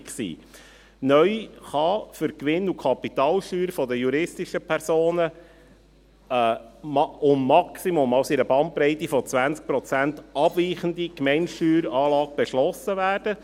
Neu kann für die Gewinn- und Kapitalsteuern der juristischen Personen eine um maximal, also in einer Bandbreite von 20 Prozent, abweichende Gemeindesteueranlage beschlossen werden.